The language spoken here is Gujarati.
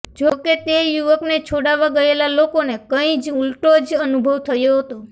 જો કે તે યુવકને છોડાવવા ગયેલા લોકોને કઈં જ ઉલટો જ અનુભવ થયો હતો